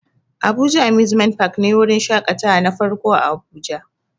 Abuja amusement park ne wurin shakatawa na farko a abuja